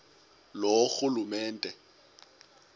loorhulumente